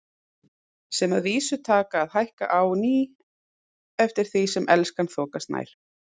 Sem að vísu taka að hækka á ný eftir því sem Elskan þokast nær.